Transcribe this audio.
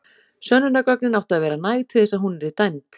Sönnunargögnin áttu að vera næg til þess að hún yrði dæmd.